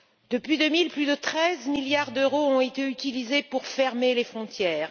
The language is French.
Depuis 2000, plus de 13 milliards d'euros ont été utilisés pour fermer les frontières.